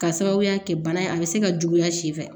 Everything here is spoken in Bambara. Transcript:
K'a sababuya kɛ bana in a bɛ se ka juguya si fɛ